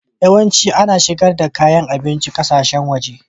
Yawanci ana shigar da kayan abinci na ƙasashen waje.